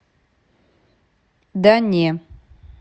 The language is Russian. да не